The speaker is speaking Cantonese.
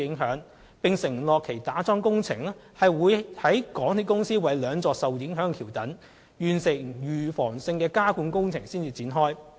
有關承建商並承諾會在港鐵公司為兩座受影響橋躉完成預防性加固工程後，才展開樁柱工程。